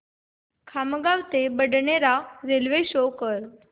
खामगाव ते बडनेरा रेल्वे शो कर